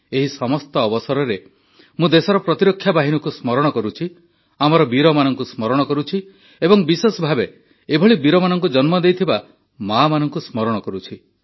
ଏହି ସମସ୍ତ ଅବସରରେ ମୁଁ ଦେଶର ପ୍ରତିରକ୍ଷା ବାହିନୀକୁ ସ୍ମରଣ କରୁଛି ଆମର ବୀରମାନଙ୍କୁ ସ୍ମରଣ କରୁଛି ଏବଂ ବିଶେଷ ଭାବେ ଏଭଳି ବୀରମାନଙ୍କୁ ଜନ୍ମ ଦେଇଥିବା ମାମାନଙ୍କୁ ସ୍ମରଣ କରୁଛି